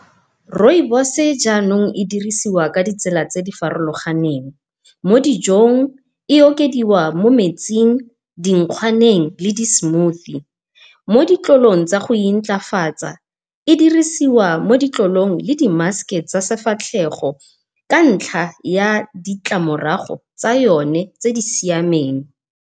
Rooibos-e jaanong e dirisiwa ka ditsela tse di farologaneng, mo dijong e okediwa mo metsing, dinkgwaneng le di-smoothie. Moditlolong tsa go intlafatsa e dirisiwa mo ditlolong le di-mask-e tsa sefatlhego ka ntlha ya ditlamorago tsa yone tse di siameng.